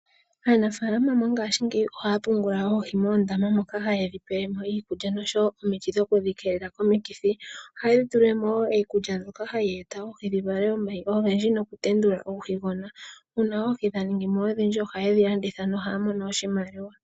Aanafaalama mongashingeya oha ya pungula oohi moondama moka haye dhi pelemo iikulya noshowo omiti dho ku dhi keelela komikithi. Oha ye dhi tulilemo woo iikulya mbyoka ha yi eta oohi dhi vale omayi ogendji nokutendula uuhigona. Uuna oohi dha ningimo odhindji oha ye dhi landitha noha ya mono oshimaliwa.